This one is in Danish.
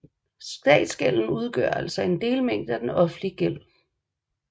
Statsgælden udgør altså en delmængde af den offentlige gæld